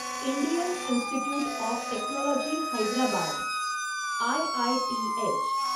Indian institute of technology Hyderabad, IITH